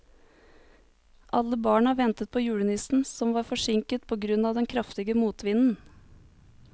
Alle barna ventet på julenissen, som var forsinket på grunn av den kraftige motvinden.